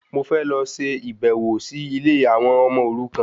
Mò fẹ́ lọ ṣe ìbẹ̀wò sí ilé àwọn ọmọ òrukan